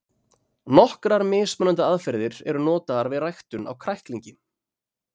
nokkrar mismunandi aðferðir eru notaðar við ræktun á kræklingi